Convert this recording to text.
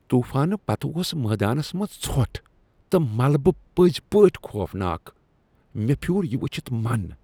طوفانہ پتہٕ اوس میدانس منٛز ژھۄٹھ تہٕ ملبہ پٔزۍ پٲٹھۍ خوفناک، مےٚ پھیُور یہ وٕچھتھ من۔